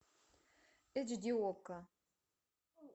эйч ди окко